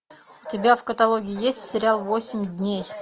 у тебя в каталоге есть сериал восемь дней